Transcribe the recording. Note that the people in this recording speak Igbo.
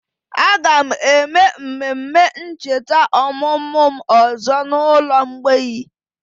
Aga m eme mmemme ncheta ọmụmụ m ọzọ n'ụlọ mgbei